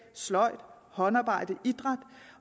sløjd håndarbejde idræt